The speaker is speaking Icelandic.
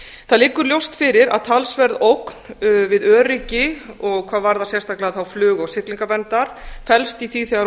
það liggur ljóst fyrir að talsverð ógn við öryggi og hvað varðar sérstaklega flug og siglingaverndar felst í því þegar